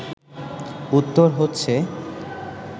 উত্তর হচ্ছে